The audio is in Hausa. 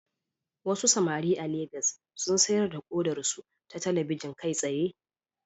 Wasu samari a Legas sun sayar da kodarsu ta talabijin kai tsaye